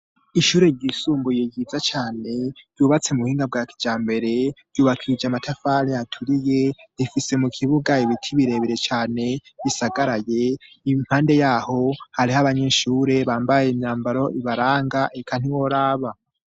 ishure ry'isumbuye ryiza cane ryubatse mu buhinga bwakijambere ryubakishijwe n'amatafari aturiye rifise mu kibuga ibiti birebere cane bisagaraye impande yaho hariho abanyeshure bambaye imyambaro ibaranga eka ntiworaba